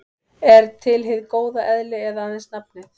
Er til hið góða eðli eða aðeins nafnið?